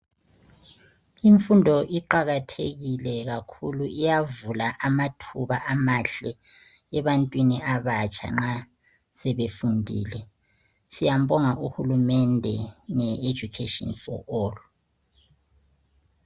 Imfundo iqakathekile kakhulu iyavula amathuba amahle ebantwini abatsha nxa sebefundile. Siyambonga uhulumende nge Education for All.